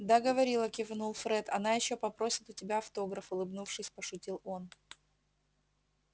да говорила кивнул фред она ещё попросит у тебя автограф улыбнувшись пошутил он